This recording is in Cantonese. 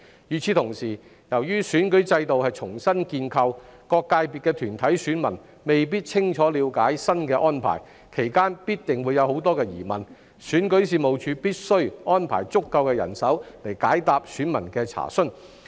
與此同時，由於選舉制度是重新建構的，各界別分組的團體選民未必清楚了解新安排，其間必定會有很多疑問，選舉事務處必須安排足夠人手解答選民的查詢。